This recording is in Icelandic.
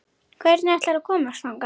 Hvernig ætlarðu að komast þangað?